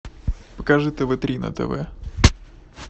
покажи тв три на тв